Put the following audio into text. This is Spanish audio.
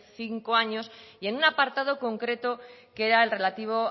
cinco años y en un apartado concreto que era el relativo